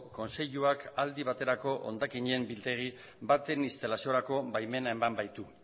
kontseiluak aldi baterako hondakinen biltegi baten instalaziorako baimena eman baitu